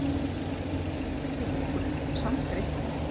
Lengi fæst ekkert upp úr henni, samt er eitthvað.